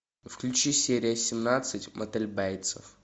включи серия семнадцать мотель бейтсов